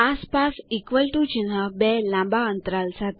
આસપાસ equal to ચિહ્ન બે લાંબા અન્તરાલ સાથે